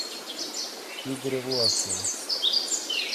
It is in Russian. игоря власова